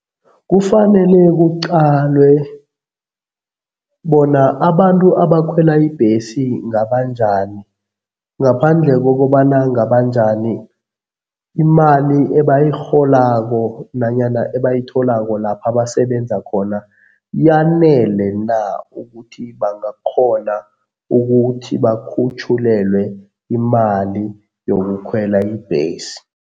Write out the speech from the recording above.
Kufanele kuqalwe bona abantu abakhwela ibhesi ngabanjani ngaphandle kokobana ngabanjani, imali ebayirholako nanyana ebayitholako lapha basebenza khona, yanele na ukuthi bangakghona ukuthi bakhutjhulelwe imali yokukhwela ibhesi.